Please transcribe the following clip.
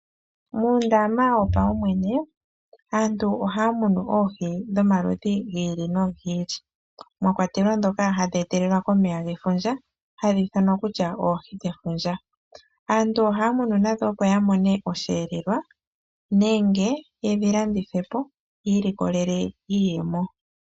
Mondama yopaumwene aantu ohaa munu oohi dhomaludhi gi ili nogi ili mwakwatelwa dhoka hadhi etelelwa komeya kefundja hadhi ithanwa kutya oohi dhefundja, aantu ohaamunu opo yiimonene mo osheelelwa nenge yedhi landithe po yo yamone mo iiyemo.